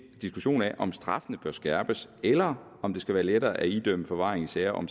diskussion af om straffene bør skærpes eller om det skal være lettere at idømme forvaring i sager om